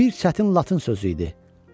Bir çətin latın sözü idi.